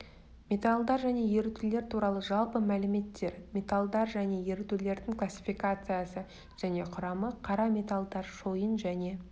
металлдар және ерітуілер туралы жалпы мәліметтер металлдар және ерітулердің классификациясы және құрамы қара металлдар шойын және